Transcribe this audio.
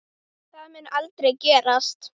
Það mun aldrei gerast.